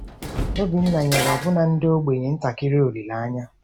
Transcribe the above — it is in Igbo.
Obinna nyere ọbụna ndị ogbenye ntakịrị olileanya.